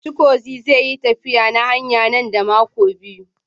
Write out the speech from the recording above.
Chigozie zai yi tafiya na hanya nan da makonni biyu.